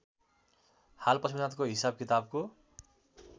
हाल पशुपतिनाथको हिसाबकिताबको